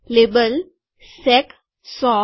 label સેક ૧૦૦